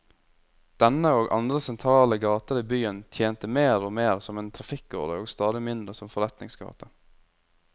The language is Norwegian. Denne, og andre sentrale gater i byen, tjente mer og mer som en trafikkåre og stadig mindre som forretningsgate.